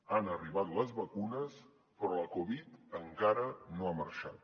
han arribat les vacunes però la covid encara no ha marxat